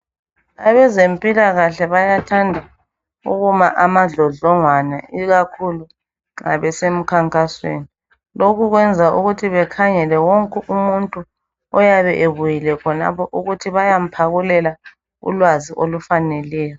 Abezempilakahle bayathanda ukuma amadlodlongwane ikakhulu nxa besemkhankasweni .Lokhu kwenza ukuthi bekhangele wonke umuntu oyabe ebuyile khonapho ukuthi bayamphakulela ulwazi olufaneleyo .